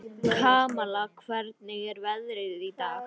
Kamal, hvernig er veðrið í dag?